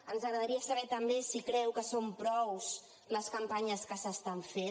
ens agradaria saber també si creu que són prou les campanyes que s’estan fent